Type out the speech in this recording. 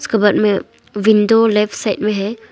Cupboard में window left side में है।